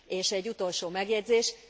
És egy utolsó megjegyzés.